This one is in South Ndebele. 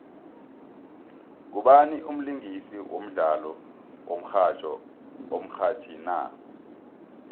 ngubani umlingisi wodlalo womxhatjho omrhatjhi na